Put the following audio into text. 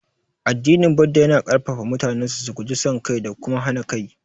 Addinin Buddah yana ƙarfafa mutanensa su guji son kai da kuma hana kai.